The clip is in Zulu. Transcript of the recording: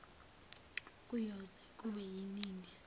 kuyoze kube nini